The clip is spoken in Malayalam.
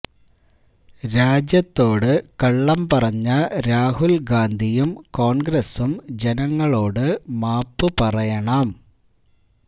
രാജ്യത്തോട് കള്ളം പറഞ്ഞ രാഹുല് ഗാന്ധിയും കോണ്ഗ്രസും ജനങ്ങളോട് മാപ്പ് പറയണം